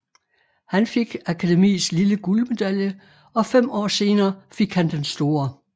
Han fik Akademiets lille guldmedalje og fem år senere fik han den store